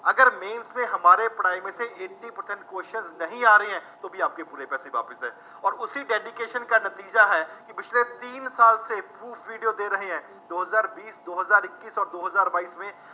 ਅਗਰ mains ਮੇਂ ਹਮਾਰੇ ਪੜ੍ਹਾਏ ਮੇਂ ਸੇ eighty percent questions ਨਹੀਂ ਆ ਰਹੇ ਹੈ, ਤੋ ਵੀ ਆਪਕੇ ਪੂਰੇ ਪੈਸੇ ਵਾਪਸ, ਅੋਰ ਉਸੀਂ dedication ਕਾ ਨਤੀਜਾ ਹੈ, ਪਿਛਲੇ ਤੀਨ ਸਾਲ ਸੇ proof video ਦੇ ਰਹੇ ਹੈ, ਦੋ ਹਜ਼ਾਰ ਵੀਸ, ਦੋ ਹਜ਼ਾਰ ਇੱਕੀਸ ਅੋਰ ਦੋ ਹਜ਼ਾਰ ਬਾਈਸ ਮੇਂ